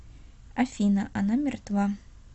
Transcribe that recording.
афина она мертва